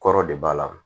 Kɔrɔ de b'a la